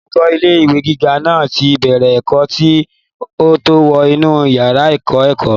olùkọ́ ilé ìwé gíga náà ti bẹ̀rẹ̀ ẹ̀kọ́ kí ó tó wọ inú yàrá ìkọ́-ẹ̀kọ́